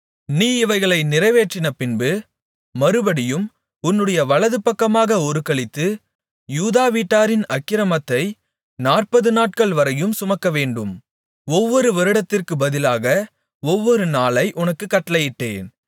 நீ இவைகளை நிறைவேற்றினபின்பு மறுபடியும் உன்னுடைய வலதுபக்கமாக ஒருக்களித்து யூதா வீட்டாரின் அக்கிரமத்தை நாற்பதுநாட்கள் வரையும் சுமக்கவேண்டும் ஒவ்வொரு வருடத்திற்குப் பதிலாக ஒவ்வொரு நாளை உனக்குக் கட்டளையிட்டேன்